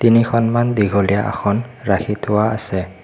তিনিখনমান দীঘলীয়া আসন ৰাখি থোৱা আছে।